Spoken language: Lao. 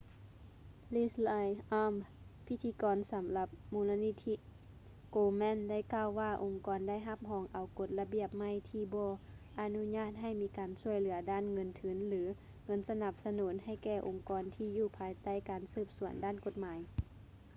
leslie aun ພິທິກອນສຳລັບມູນນິທິ komen ໄດ້ກ່າວວ່າອົງກອນໄດ້ຮັບຮອງເອົາກົດລະບຽບໃໝ່ທີບໍ່ອະນຸຍາດໃຫ້ມີການຊ່ວຍເຫຼືອດ້ານເງິນທຶນ ຫຼື ເງິນສະໜັບສະໜູນໃຫ້ແກ່ອົງກອນທີຢູ່ພາຍໃຕ້ການສືບສວນດ້ານກົດໝາຍ